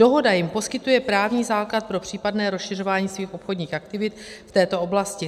Dohoda jim poskytuje právní základ pro případné rozšiřování jejich obchodních aktivit v této oblasti.